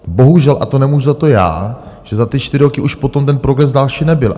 Bohužel, a to nemůžu za to já, že za ty čtyři roky už potom ten progres další nebyl.